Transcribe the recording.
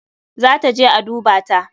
Za ta je a dubata.